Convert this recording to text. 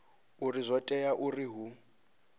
uri zwo tea uri hu